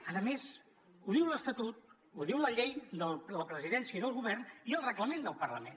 a més ho diu l’estatut ho diuen la llei de la presidència i del govern i el reglament del parlament